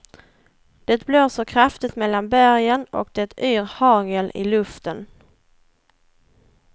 Det blåser kraftigt mellan bergen och det yr hagel i luften.